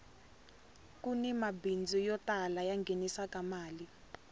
kuni mabindzu yo tala ya nghenisaka mali